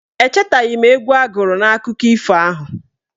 Echetaghị m egwu a gụrụ n' akụkọ ifo ahụ.